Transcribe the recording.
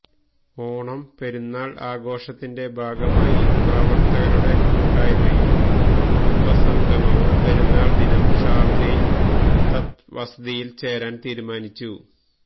ഓണം പെരുന്നാള് ആഘോഷത്തിന്റെ ഭാഗമായി പ്രവര്ത്തകരുടെ കൂട്ടായ്മയും കുടുംബ സംഗമവും പെരുന്നാള് ദിനം ഷാര്ജയില് തത് വസതിയില് ചേരാന് തീരുമാനിച്ചു